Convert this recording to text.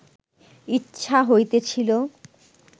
ইচ্ছা হইতেছিল